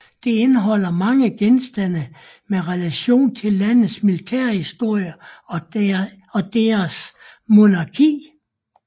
Det indeholder mange genstande med relation til landets militærhistorie og deres monarki